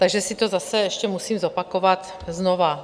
Takže si to zase ještě musím zopakovat znova.